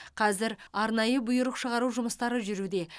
қазір арнайы бұйрық шығару жұмыстары жүруде